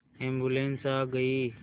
ambulance आ गई